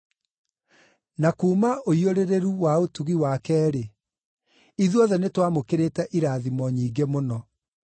Na kuuma ũiyũrĩrĩru wa ũtugi wake-rĩ, ithuothe nĩtwamũkĩrĩte irathimo nyingĩ mũno.